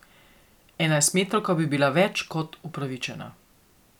Enajstmetrovka bi bila več kot upravičena.